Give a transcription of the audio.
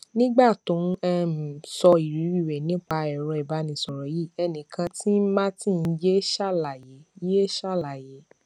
nígbà tó n um sọ ìrírí rẹ nípa ẹrọ ìbánisọrọ yìí ẹni kàn tí n martin yé ṣàlàyé yé ṣàlàyé